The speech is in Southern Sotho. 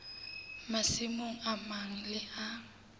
masimong a mang le a